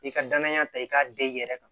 I ka danaya ta i k'a den i yɛrɛ kan